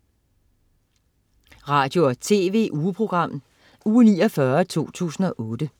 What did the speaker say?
Radio- og TV-ugeprogram Uge 49, 2008